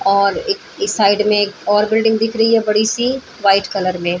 और एक इस साइड में एक और बिल्डिंग दिख रही है बड़ी सी वाइट कलर में।